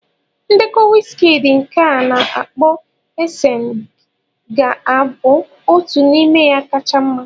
Ndekọ Wizkidii nke a na-akpo Esensi ga-abụ otu n'ime ya kacha mma.